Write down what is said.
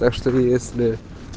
так что если